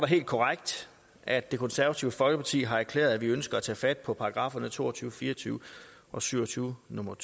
helt korrekt at det konservative folkeparti har erklæret at vi ønsker at tage fat på paragrafferne to og tyve fire og tyve og syv og tyve nummer